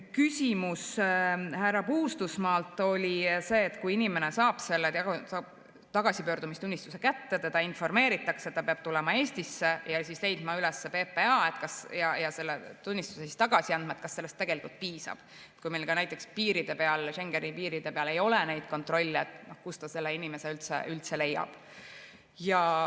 Küsimus härra Puustusmaalt oli see, et kui inimene saab tagasipöördumistunnistuse kätte, teda informeeritakse, et ta peab tulema Eestisse ja leidma üles PPA ja selle tunnistuse tagasi andma, et kas sellest tegelikult piisab, et kui meil näiteks piiri peal, Schengeni piiri peal ei ole neid kontrolle, siis kust ta selle inimese üldse leiab.